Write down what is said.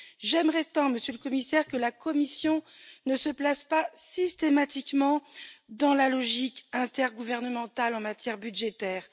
J'aimerais tant, Monsieur le Commissaire, que la Commission ne se place pas systématiquement dans la logique intergouvernementale en matière budgétaire.